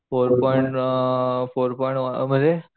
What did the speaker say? four point uh four point मध्ये